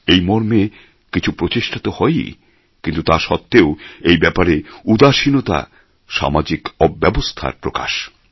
এই মর্মে কিছু প্রচেষ্টা তো হয়ই কিন্তু তা সত্ত্বেও এই ব্যাপারে উদাসীনতা সামাজিক অব্যবস্থার প্রকাশ